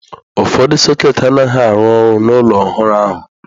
Ụfọdụ sọketị anaghị arụ ọrụ n'ụlọ ọhụrụ ahụ.